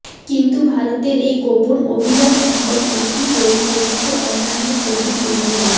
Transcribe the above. কিন্তু ভারতের এই গোপন অভিযান সম্পর্কে কি বলছে বিশ্বের অন্যান্য প্রধান দেশগুলি